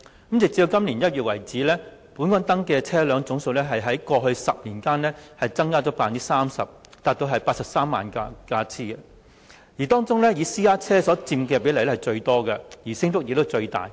根據2018年1月的數字，本港登記車輛總數在過去10年增加了 30% 至83萬輛，當中私家車所佔比例最高，升幅亦最大。